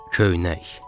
Köynək.